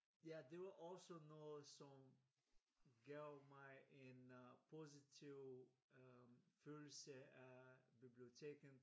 Ja det var også noget som gav mig en øh positiv følelse af biblioteket